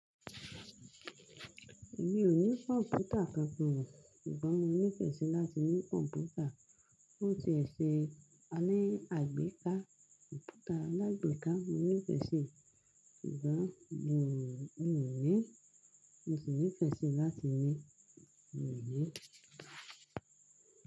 Mi ò ní kọ̀mpútà kan fún wọn. Sugbon mo nífẹ̀ẹ́ sí láti ní kọ̀mpútà. Ó ti ẹ̀ ṣe a ní àgbékà kọ̀mpútà alágbèéká. Mo nífẹ́ sì, ṣùgbọ́n mi ò ní. Mo sì nífẹ̀ẹ́ sí láti ní, mi ò ní.